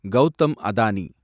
Gautham Adani